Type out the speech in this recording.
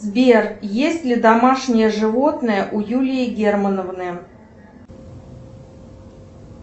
сбер есть ли домашнее животное у юлии германовны